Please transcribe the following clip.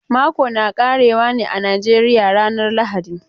Mako na ƙare wa ne a Najeriya ranan lahadi.